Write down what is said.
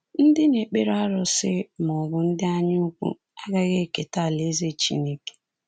Ndị na-ekpere arụsị… ma ọ bụ ndị anyaukwu… agaghị eketa alaeze Chineke.